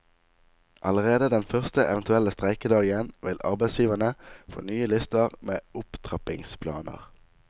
Allerede den første eventuelle streikedagen vil arbeidsgiverne få nye lister med opptrappingsplaner.